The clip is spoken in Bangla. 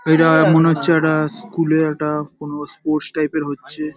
এটা মনে হচ্ছে একটা স্কুল - এর একটা কোনো স্পোর্টস টাইপ -এর হচ্ছে ।